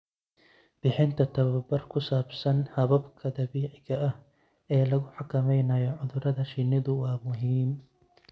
Bixinta tababar ku saabsan hababka dabiiciga ah ee lagu xakameynayo cudurrada shinnidu waa muhiim.